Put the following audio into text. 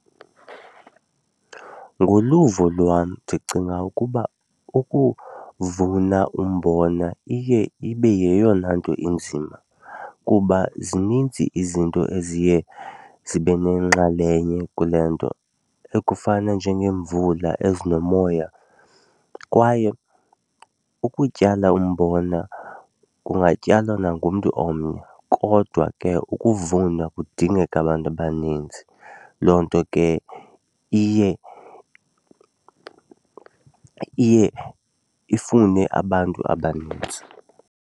Ngoluvo lwam ndicinga ukuba ukuvuna umbona iye ibe yeyona nto inzima kuba zininzi izinto eziye zibe nenxalenye kule nto ekufana njengeemvula ezinomoya kwaye ukutyala umbona kungatyalwa nangumntu omnye kodwa ke ukuvuma kudingeka abantu abaninzi. Loo nto ke iye iye ifune abantu abanintsi.